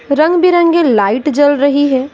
रंग बिरंगे लाइट जल रही है।